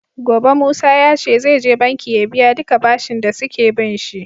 Gobe musa yace zai je banki ya biya duka bashin da suke binshi